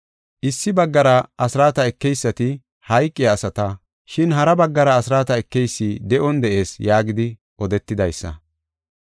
Issi baggara, asraata ekeysati hayqiya asata, shin hara baggara asraata ekeysi de7on de7ees yaagidi odetidaysa.